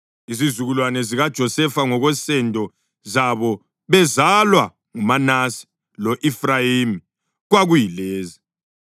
Izizukulwane zikaJosefa ngokwensendo zabo bezalwa nguManase lo-Efrayimi kwakuyilezi: